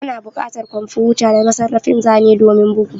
Ana buƙatar kwamfuta da masarrafin zane domin bugu